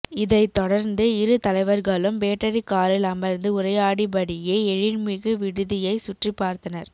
இதைத் தொடர்ந்து இரு தலைவர்களும் பேட்டரி காரில் அமர்ந்து உரையாடி படியே எழில்மிகு விடுதியை சுற்றிப் பார்த்தனர்